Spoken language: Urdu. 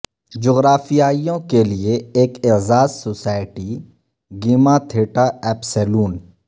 جغرافیائیوں کے لئے ایک اعزاز سوسائٹی گیما تھیٹا اپسیلون